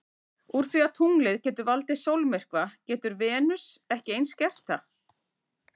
Úr því að tunglið getur valdið sólmyrkva getur Venus ekki eins gert það?